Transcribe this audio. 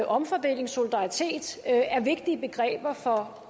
omfordeling og solidaritet er vigtige begreber for